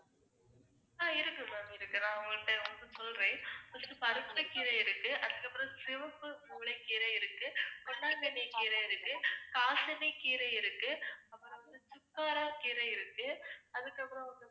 இருக்கு ma'am இருக்கு. நான் உங்ககிட்ட நான் உங்களுக்கு சொல்றேன் first பருப்புக்கீரை இருக்கு, அதுக்கு அப்புறம் சிவப்பு கம்பளி கீரை இருக்கு, பொன்னாங்கண்ணி கீரை இருக்கு, காசனிக்கீரை இருக்கு, அப்புறம் வந்து சுக்காராகீரை இருக்கு, அதுக்கு அப்புறம் வந்து